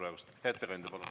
Hea ettekandja, palun!